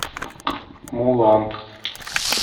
мулан